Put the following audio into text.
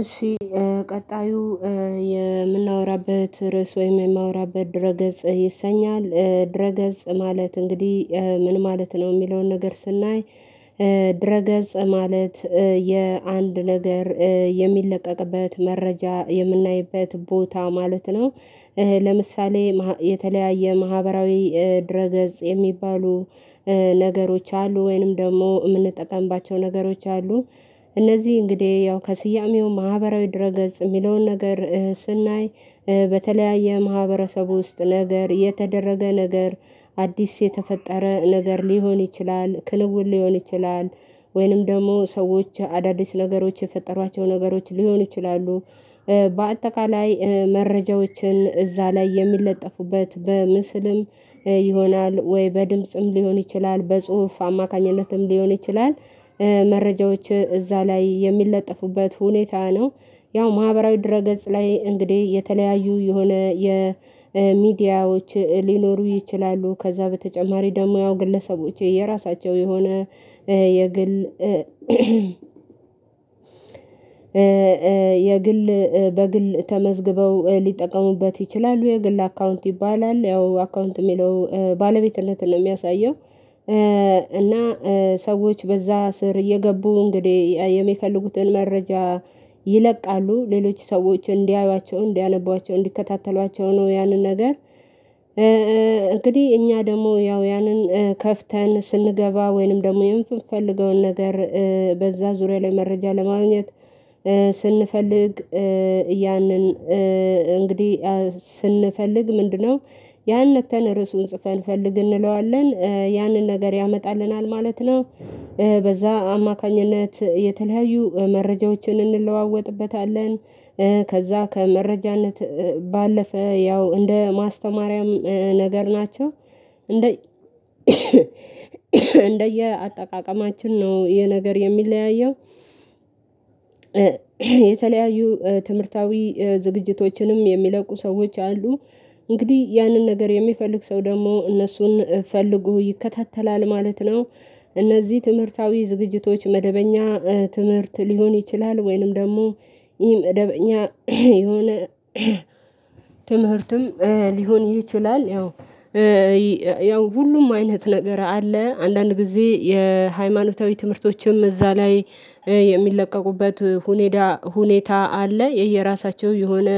እሺ ቀጣዩ የምናወራበት ርዕስ ወይም የማወራበት ድረ ገጽ ይሰኛል ድረ ገጽ ማለት እንግዲህ ምን ማለት ነው የሚለውን ነገር ስናይ። ድረ ገጽ ማለት የአንድ ነገር የሚለቀቅበት መረጃ የምናይበት ቦታ ማለት ነው። ለምሳሌ የተለያየ ማህበራዊ ድረገጽ የሚባሉ ነገሮች አሉ ወይንም ደግሞ የምንጠቀምባቸው ነገሮች አሉ። እነዚህ እንግዲህ ያው ከስያሜው ማህበራዊ ድረ ገጽ የሚለውን ነገር ስናይ በተለያየ ማህበረሰቡ ውስጥ ነገር የተደረገ ነገር አዲስ የተፈጠረ ነገር ሊሆን ይችላል ክንውን ሊሆን ይችላል። ወይንም ደግሞ ሰዎች አዳዲስ ነገሮች የፈጠሯቸው ነገሮች ሊሆኑ ይችላሉ። በአጠቃላይ መረጃዎችን እዛ ላይ የሚለጠፉበት በምስልም ይሆናል ወይ በድምጽም ሊሆን ይችላል በጽሁፍ አማካኝነትም ሊሆን ይችላል መረጃዎች እዛ ላይ የሚለጠፉበት ሁኔታ ነው። ያው ማህበራዊ ድረ ገጽ ላይ እንግዲህ የተለያዩ የሆነ የሚዲያዎች ሊኖሩ ይችላሉ ከዛ በተጨማሪ ደግሞ ያው ግለሰቦች የራሳቸው የሆነ የግል በግል ተመዝግበው ሊጠቀሙበት ይችላሉ። የግል አካውንት ይባላል ያው አካውንት የሚለው ባለቤትነትን የሚያሳየው። ሰዎች በዛ ስር እየገቡ እንግዲህ የሚፈልጉትን መረጃ ይለቃሉ ሌሎች ሰዎችን እንዲያዩዋቸው እንዲያነቧቸው እንዲከታተሏቸው ነው ያንን ነገር። እኛ ደግሞ ያው ያንን ከፍተን ስንገባ ወይንም ደግሞ የምፈልገውን ነገር በዛ ዙሪያ ላይ መረጃ ለማግኘት ስንፈልግ ያንን እንግዲህ ስንፈልግ ምንድነው ያን ነክተን ርዕሱን ጽፈን ፈልግ እንለዋለን ያንን ነገር ያመጣልናል ማለት ነው። በዛ አማካኝነት የተለያዩ መረጃዎችን እንለዋወጥበታለን ከዛ ከመረጃነት ባለፈ ያው እንደ ማስተማሪያም ነገር ናቸው። እንደ እንደየአጠቃቀማችን ነው የነገር የሚለያየው። የተለያዩ ትምህርታዊ ዝግጅቶችንም የሚለቁ ሰዎች አሉ እንግዲህ ያንን ነገር የሚፈልግ ሰው ደግሞ እነሱን ፈልጎ ይከታተላል ማለት ነው። እነዚህ ትምህርታዊ ዝግጅቶች መደበኛ ትምህርት ሊሆን ይችላል ወይንም ደግሞ ኢ መደበኛ የሆነ ትምህርትም ሊሆን ይችላል። ያው ሁሉም አይነት ነገር አለ አንዳንድ ጊዜ የሃይማኖታዊ ትምህርቶችም እዛ ላይ የሚለቀቁበት ሁኔታ ሁኔታ አለ። የየራሳቸው የሆነ